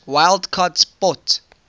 wild card spot